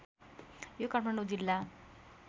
यो काठमाडौँ जिल्ला